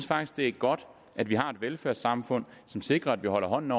faktisk det er godt at vi har et velfærdssamfund som sikrer at vi holder hånden